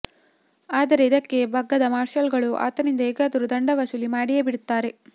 ಆದರೆ ಇದಕ್ಕೆ ಬಗ್ಗದ ಮಾರ್ಷಲ್ ಗಳು ಆತನಿಂದ ಹೇಗಾದರೂ ದಂಡ ವಸೂಲಿ ಮಾಡಿಯೇ ಬಿಡುತ್ತಾರೆ